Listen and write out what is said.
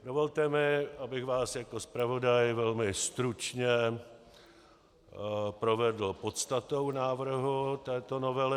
Dovolte mi, abych vás jako zpravodaj velmi stručně provedl podstatou návrhu této novely.